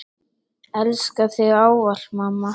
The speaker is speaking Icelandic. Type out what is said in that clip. Elska þig ávallt mamma.